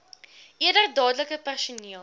eerder dadelik personeel